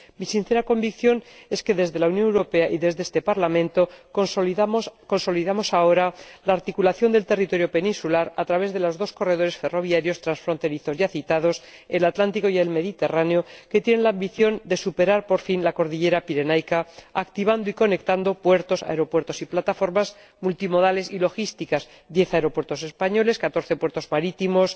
Mi sincera convicción es que, desde la Unión Europea y desde este Parlamento, consolidamos ahora la articulación del territorio peninsular a través de los dos corredores ferroviarios transfronterizos ya citados, el atlántico y el mediterráneo, que tienen la ambición de superar por fin la cordillera pirenaica activando y conectando puertos, aeropuertos y plataformas multimodales y logísticas diez aeropuertos españoles, catorce puertos marítimos